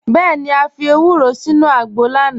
Bẹẹni, à fi èwúrò sínu àgbọ̀ lánà.